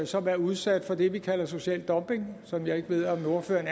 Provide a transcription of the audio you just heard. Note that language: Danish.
som er udsat for det vi kalder social dumping som jeg ikke ved om ordføreren